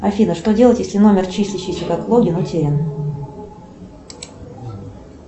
афина что делать если номер числящийся как логин утерян